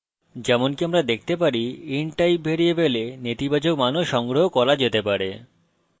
যেমনকি আমরা দেখতে পারি int type ভ্যারিয়েবলে নেতিবাচক মানও সংগ্রহ করা যেতে পারে